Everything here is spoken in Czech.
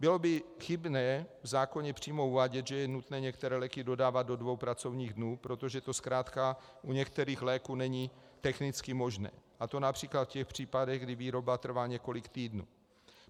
Bylo by chybné v zákoně přímo uvádět, že je nutné některé léky dodávat do dvou pracovních dnů, protože to zkrátka u některých léků není technicky možné, a to například v těch případech, kdy výroba trvá několik týdnů.